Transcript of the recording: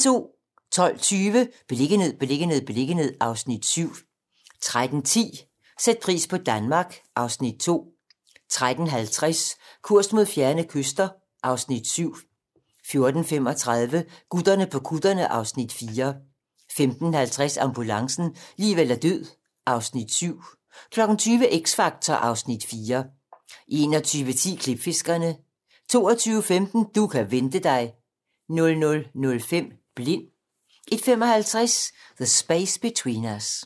12:20: Beliggenhed, beliggenhed, beliggenhed (Afs. 7) 13:10: Sæt pris på Danmark (Afs. 2) 13:50: Kurs mod fjerne kyster (Afs. 7) 14:35: Gutterne på kutterne (Afs. 4) 15:50: Ambulancen - liv eller død (Afs. 7) 20:00: X Factor (Afs. 4) 21:10: Klipfiskerne 22:15: Du kan vente dig 00:05: Blind 01:55: The Space Between Us